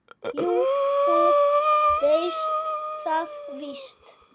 Jú, þú veist það víst.